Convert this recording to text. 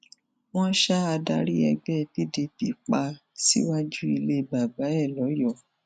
wọn ṣa adarí ẹgbẹ pdp pa síwájú ilé bàbá ẹ lọyọọ